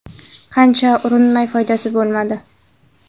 Qancha urinmay, foydasi bo‘lmadi.